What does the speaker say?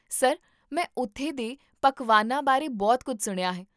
sir, ਮੈਂ ਉੱਥੇ ਦੇ ਪਕਵਾਨਾਂ ਬਾਰੇ ਬਹੁਤ ਕੁੱਝ ਸੁਣਿਆ ਹੈ